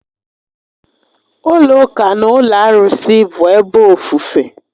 Ụlọ ụka na ụlọ arụsị bụ ebe ofufe